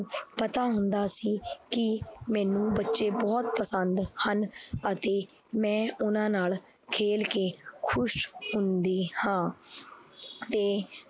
ਪਤਾ ਹੁੰਦਾ ਸੀ ਕਿ ਮੈਨੂੰ ਬੱਚੇ ਬਹੁਤ ਪਸੰਦ ਹਨ ਅਤੇ ਮੈਂ ਉਹਨਾਂ ਨਾਲ ਖੇਲ ਕੇ ਖ਼ੁਸ਼ ਹੁੰਦੀ ਹਾਂ ਤੇ